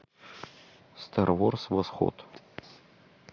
стар ворс восход